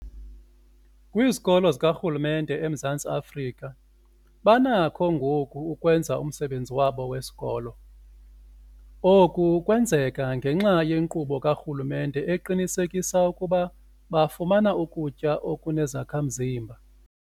Kwizikolo zikarhulumente eMzantsi Afrika banakho ngoku ukwenza umsebenzi wabo wesikolo. Oku kwenzeka ngenxa yenkqubo karhulumente eqinisekisa ukuba bafumana ukutya okunezakha-mzimba.